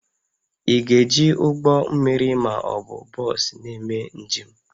Ị ga-eji ụgbọ mmiri ma ọ bụ bọs na-eme njem?